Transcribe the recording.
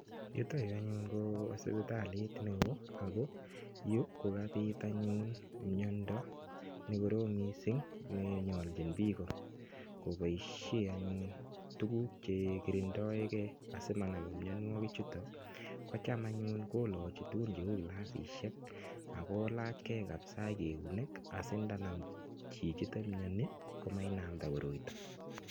Yutoyu anyun ko sipitalit neo Ako Yu kukapit anyun mnyondo nekorom mising nenyoljin piko ekopoishe tukuk chekerendoikei asimanam mnywandwonik chutok cham anyun kolochi tugun cheu kilasishek akolachkei akoi keunek sindanam chichito mnyani komanam mnyondo